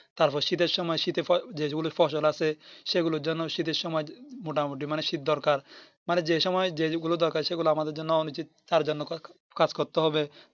তারপর শীতের সময় শীতে যেগুলি ফসল আসে সেগুলির জন্য শীতের সময় মোটামুটি মানে শীত দরকার মানে যে সময় যে গুলো দরকার সেগুলি আমাদের জন্য অনুচিত তার জন্য কাজ করতে হবে